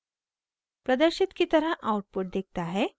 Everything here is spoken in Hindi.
प्रदर्शित की तरह आउटपुट दिखता है